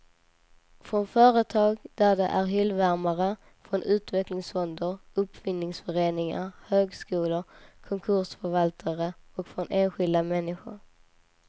Från företag där de är hyllvärmare, från utvecklingsfonder, uppfinnareföreningar, högskolor, konkursförvaltare och från enskilda människor.